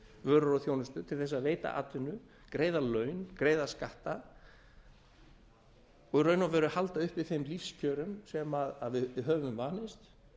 vörur og þjónustu til að veita atvinnu greiða laun greiða skatta og í raun og veru halda uppi þeim lífskjörum sem við höfum vanist